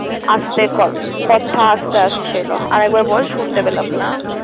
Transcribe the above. আস্তে ক~ কথা আস্তে আসছিলো আরেকবার বল শুনতে পেলাম না।